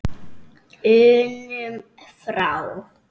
unum frá.